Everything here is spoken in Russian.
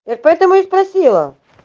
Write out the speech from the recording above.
поэтому и спросила